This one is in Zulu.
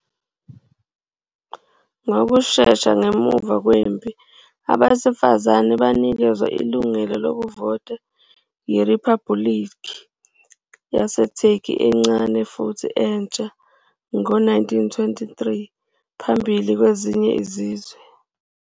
Ngokushesha ngemuva kwempi, abesifazane banikezwa ilungelo lokuvota yiRiphabhulikhi yaseTurkey encane futhi entsha, ngo-1923, phambili kwezinye izizwe.